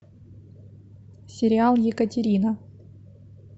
сериал екатерина